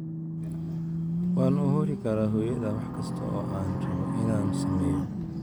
"Waan u huri karaa hooyada wax kasta oo aan rabo inaan sameeyo.